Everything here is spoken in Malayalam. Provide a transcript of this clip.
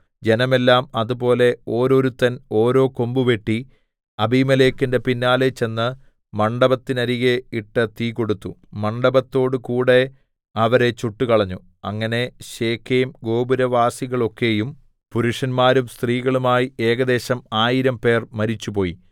ജനമെല്ലാം അതുപോലെ ഓരോരുത്തൻ ഓരോ കൊമ്പ് വെട്ടി അബീമേലെക്കിന്റെ പിന്നാലെ ചെന്ന് മണ്ഡപത്തിന്നരികെ ഇട്ട് തീ കൊടുത്തു മണ്ഡപത്തോടു കൂടെ അവരെ ചുട്ടുകളഞ്ഞു അങ്ങനെ ശെഖേംഗോപുരവാസികളൊക്കെയും പുരുഷന്മാരും സ്ത്രീകളുമായി ഏകദേശം ആയിരംപേർ മരിച്ചുപോയി